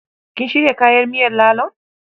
Kin shirya kayan miyar lalon?